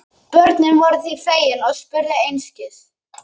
Börnin voru því fegin og spurðu einskis.